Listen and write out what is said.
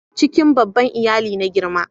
cikin babban iyali na girma